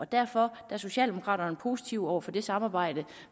derfor er socialdemokraterne positive over for det samarbejde